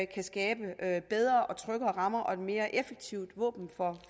af bedre og tryggere rammer og være et mere effektivt våben for